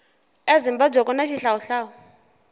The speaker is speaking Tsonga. ezimbabwe kuna xihlawuhlawu